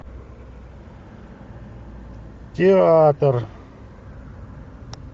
театр